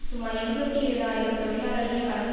சுமார் இருபத்தி ஏழு ஆயிரம் தொழிலாளர்கள் கலந்து